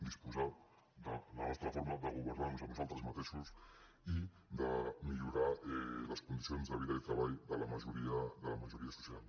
disposar de la nostra forma de governar nos a nosaltres mateixos i de millorar les condicions de vida i treball de la majoria social